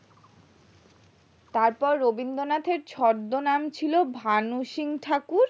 তারপর রবীন্দ্রনাথ এর ছদ্দ নাম ছিল ভানু সিং ঠাকুর